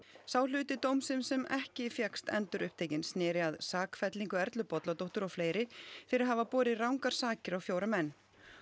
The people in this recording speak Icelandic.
sá hluti dómsins sem ekki fékkst endurupptekinn sneri að sakfellingu Erlu Bolladóttur og fleiri fyrir að hafa borið rangar sakir á fjóra menn